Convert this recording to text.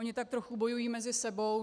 Ony tak trochu bojují mezi sebou.